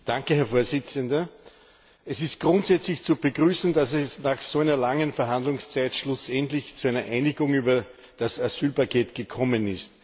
Herr Präsident! Es ist grundsätzlich zu begrüßen, dass es nach so einer langen Verhandlungszeit schlussendlich zu einer Einigung über das Asylpaket gekommen ist.